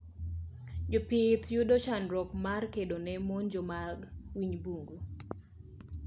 Jopith yudo chandruok mar kedone monjo mag winy bungu